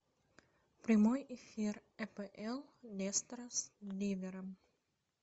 прямой эфир апл лестера с ливером